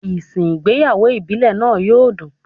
Ìsìn ìgbéyàwó ìbílẹ̀ náà yó dùn.